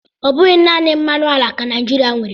Ọ bụghị naanị mmanụ ala ka Naịjirịa nwere.